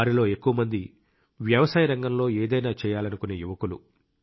వారిలో ఎక్కువ మంది వ్యవసాయ రంగంలో ఏదైనా చేయాలనుకునే యువకులు